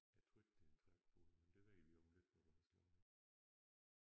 Jeg tror ikke det en trækfugl men det ved vi om lidt når du har slået op